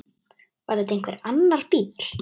Var þetta einhver annar bíll?